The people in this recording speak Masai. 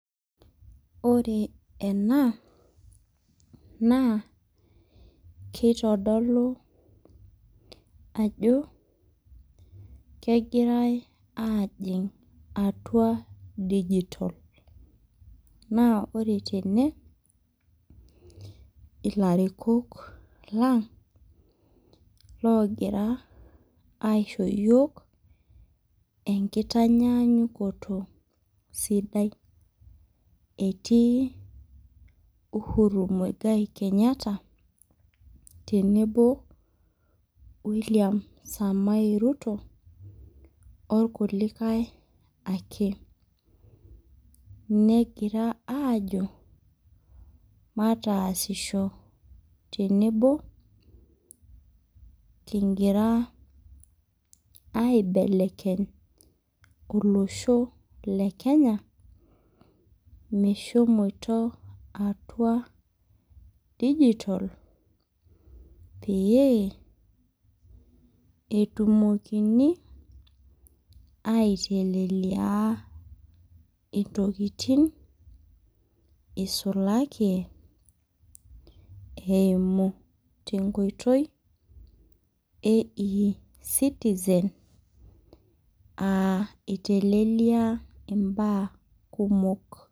Ore ena, naa kitodolu ajo, kegirai ajing' atua dijitol. Naa ore tene, ilarikok lang' logira aisho yiok enkitanyaanyukoto sidai. Etii Uhuru Muigai Kenyatta, tenebo William Samae Ruto, orkulikae ake. Negira ajo, mataasisho tenebo, kigira aibelekeny olosho le Kenya, meshomoto atua dijitol, pee, etumokini, aitelelia intokiting, isulaki eimu tenkoitoi e e-citizen, ah itelelia imbaa kumok.